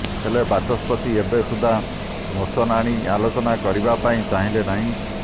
ହେଲେ ବାଚସ୍ପତି ଏବେ ସୁଦ୍ଧା ମୋସନ ଆଣି ଆଲୋଚନା କରିବା ପାଇଁ ଚାହିଁଲେ ନାହିଁ